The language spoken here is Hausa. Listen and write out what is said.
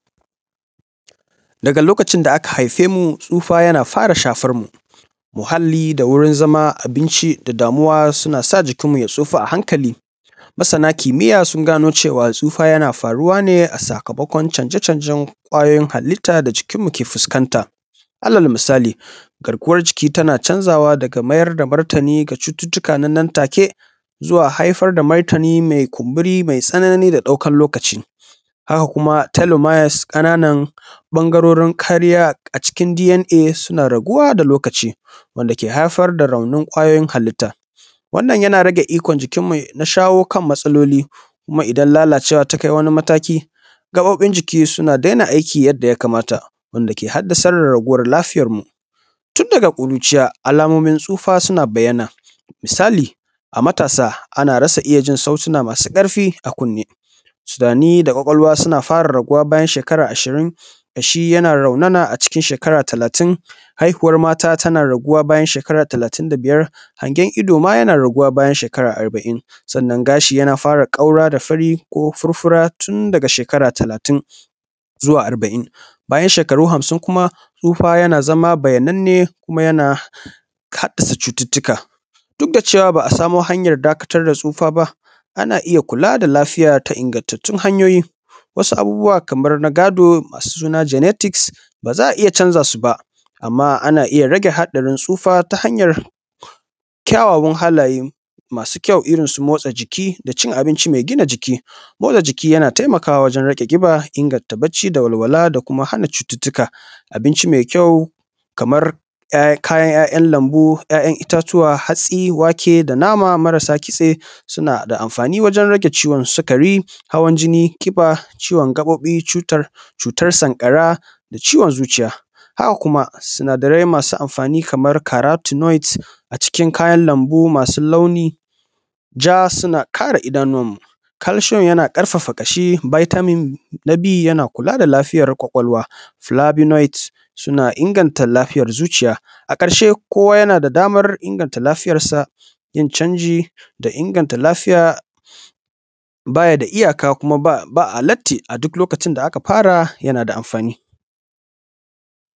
Daga lokacin da aka haife mu tsufa yana fara shafarmu, muhalli da wurin zama da abunci suna sa jikinmu ya tsofa a hankali. Masana kimiya sun gano cewa tsufa yana faruwa ne a sakamakon canje-canjen ƙwayoyin halitta da cikinmu ke fuskanta. Alal misali garkuwar jiki tana canzawa daga mayar da martani zuwa cututtuka na nan take zuwa haifar da martani mai kunburi mai tsanani a ɗaukar lokaci. Sannan kuma telemiles ƙananan ɓangarorin kariya a cikin DNA suna raguwa da lokaci wanda yake haifar da raunin kwayoyin halitta. Wannan yan rage ikon jikinmu na shawo kan matsaloli. Kuma idan lalacewa ta kai matsayi taki, gaɓoɓin jiki suna daina aiki yadda ya kamata wanda yake haddasar da raguwar lafiyarmu. Tun daga kuruciya, alamomin tsufa suna bayyana. Misali a matasa ana ita jin sautina masu karfi a kunne sudani da ƙwaƙwalwa suna fara raguwa bayan shekara ashirin, kashi yana raunana a talatin, haihuwar msta tana raunana shekara talatin da biyar. Hangen ido ma na raguwa bayan shekara talitin da biyar. Gashi yana fara kaura da fari ko furfura tun daga shekara talatin zuwa arbain. Bayan shekaru hamsin kuma tsufa yana zama bayyananne kuma yana haddasa cututtuka. Duk da cewa ba a samu hanyar dakatar da tsufa ba, ana iya kula da lafiya da ingantattun hanyoyi wasu abubuwa kamar na gado masu suna genetics ba za a iya canza su ba amma ana iya rage hadarin tsufa ta hanyar rage haɗari tsufa ta hanyar ƙyauwawan halaye masu ƙyau irinsu motsa jiki da cin abinci mai gina jiki. Motsa jiki yana taimakawa wajen rage kiba inganta bacci da walwala da kuma hana cututtuka. Abinci mai ƙyau kamar kayan lambu, ya'yan itatuwa hatsi wake da nama marasa kitse suna da amafani wajen rage ciwon sukari, hawan jini, kiba, ciwon gaɓoɓi ,cutar sankara suna da amfani wajen rage sukari hawan jini, kiba, ciwon gaɓoɓi cutar sankara da ciwon zuciya. Haka kuma sunadarai masu amfanii kamar karac noite kayan lambu masu launin ja suna kara idanuwanmun. Calcium yana ƙarfafa kashi vitamin B na kula da lafiyar ƙwaƙwalwa, flavinoit na na inganta lafiyar zuciya. A ƙarshe na da damar inganta lafiyarsa da yin canji da inga ta lafiya ba ya da iyaka kuma ba a latti a duk lokacin da aka fara yana da amfani.